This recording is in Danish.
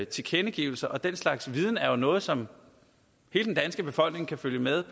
tilkendegivelser og den slags viden er jo noget som hele den danske befolkning kan følge med